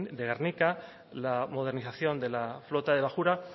de gernika la modernización de la flota de bajura